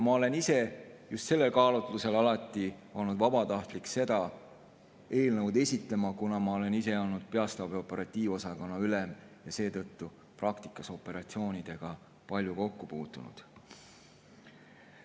Ma olen ise just sellel kaalutlusel alati olnud valmis vabatahtlikult seda eelnõu esitama, kuna ma olen olnud peastaabi operatiivosakonna ülem ja seetõttu praktikas operatsioonidega palju kokku puutunud.